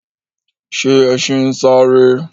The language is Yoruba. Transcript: Ṣe ẹṣin ń sáré?